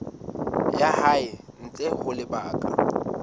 ya hae ntle ho lebaka